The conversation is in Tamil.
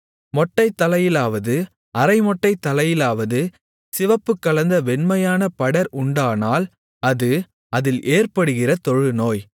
மொட்டைத்தலையிலாவது அரைமொட்டைத்தலையிலாவது சிவப்புக்கலந்த வெண்மையான படர் உண்டானால் அது அதில் ஏற்படுகிற தொழுநோய்